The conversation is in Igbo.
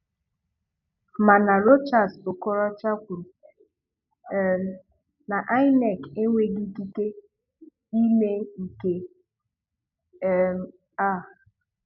Mana Rochas Okoroocha kwuru um na INEC enweghi ikike ime nke um a.